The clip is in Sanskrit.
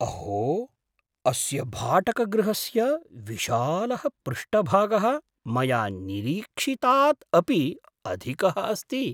अहो! अस्य भाटकगृहस्य विशालः पृष्ठभागः मया निरीक्षितात् अपि अधिकः अस्ति!